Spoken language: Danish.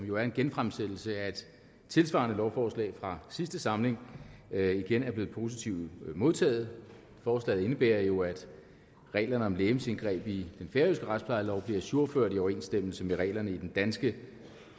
jo er en genfremsættelse af et tilsvarende lovforslag fra sidste samling igen er blevet positivt modtaget forslaget indebærer jo at reglerne om legemsindgreb i den færøske retsplejelov bliver ajourført i overensstemmelse med reglerne i den danske